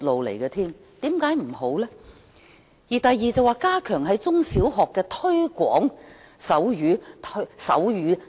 議案的第二項建議是"加強在中、小學推廣手語"。